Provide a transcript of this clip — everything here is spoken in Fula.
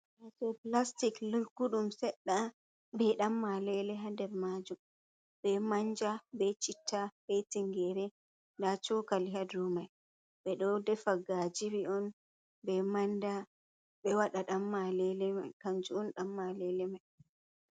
Ɗo plastic lugguɗum sedda be dammalele ha nder majum be manja be chitta be tingere, nda chokali ha dow mai, ɓe ɗo defa ngajiri on be manda ɓe wada dammalele mai kanjuun dammalele mai.